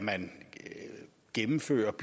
kan gennemføres